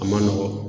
A ma nɔgɔn